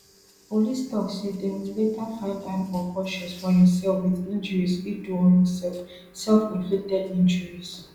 police tok say dem later find am unconscious for im cell wit injuries e do on imself selfinflicted injuries